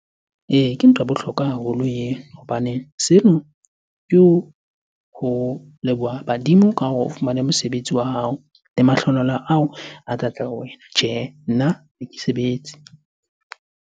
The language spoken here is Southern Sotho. Ee, ke ntho ya bohlokwa haholo eo. Hobane seno ke ho leboha badimo ka hore o fumane mosebetsi wa hao le mahlohonolo ao a tlatla ho wena. Tjhehe, nna ha ke sebetse.